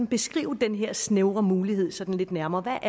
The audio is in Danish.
beskrive den her snævre mulighed sådan lidt nærmere hvad